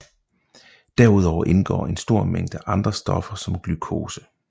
Derudover indgår en stor mængde andre stoffer som glukose